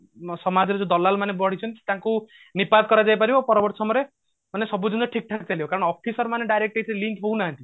ସମାଜରେ ଯୋଉ ଦଲାଲ ମାନେ ବଢିଛନ୍ତି ତାଙ୍କୁ ନିପାତ କରାଯାଇ ପାରିବ ପରବର୍ତୀ ସମୟରେ ମାନେ ସବୁ ଯେମତି ଠିକ ଠାକ ଚାଲିବ କାରଣ officer ମାନେ direct ଏଥିରେ link ରହୁନାହାନ୍ତି